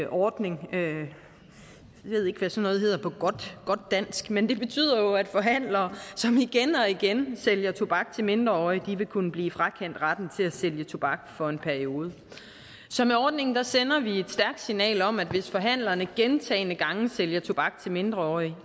ordning jeg ved ikke hvad sådan noget hedder på godt dansk men det betyder jo at forhandlere som igen og igen sælger tobak til mindreårige vil kunne blive frakendt retten til at sælge tobak for en periode så med ordningen sender vi et stærkt signal om at hvis forhandlerne gentagne gange sælger tobak til mindreårige